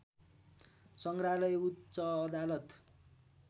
संग्रहालय उच्च अदालत